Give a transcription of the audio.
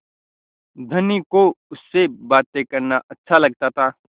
धनी को उससे बातें करना अच्छा लगता था